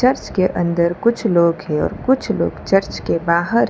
उसके अंदर कुछ लोग हैं और कुछ लोग चर्च के बाहर है।